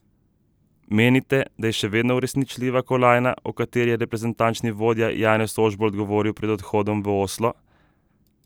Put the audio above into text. Menite, da je še vedno uresničljiva kolajna, o kateri je reprezentančni vodja Janez Ožbolt govoril pred odhodom v Oslo?